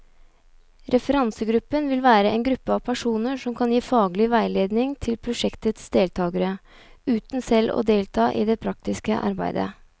Referansegruppen vil være en gruppe av personer som kan gi faglig veiledning til prosjektets deltagere, uten selv å delta i det praktiske arbeidet.